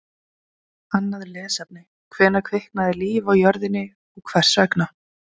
Annað lesefni: Hvenær kviknaði líf á jörðinni og hvers vegna?